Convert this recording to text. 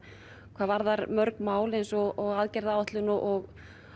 hvað varðar mörg mál eins og aðgerðaáætlun og